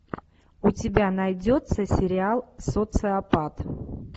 у тебя найдется сериал социопат